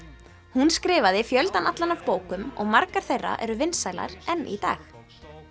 hún skrifaði fjöldann allan af bókum og margar þeirra eru vinsælar enn í dag